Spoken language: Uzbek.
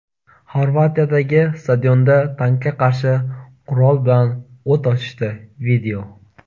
Xorvatiyadagi stadionda tankga qarshi qurol bilan o‘t ochishdi.